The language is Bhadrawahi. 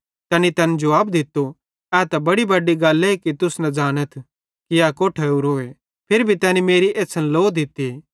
तैनी तैन जुवाब दित्तो ए त बड़ी बड्डी गल्ले कि तुस न ज़ानाथ कि ए कोट्ठां ओरोए फिरी भी तैनी मेरी एछ़्छ़न लो दित्ती